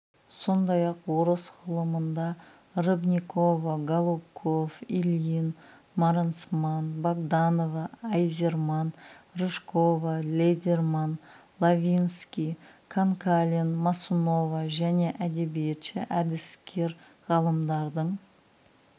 сондай-ақ орыс ғылымында рыбникова голубков ильин маранцман богданова айзерман рыжкова лейдерман лавинский канкалик мосунова және әдебиетші әдіскер-ғалымдардың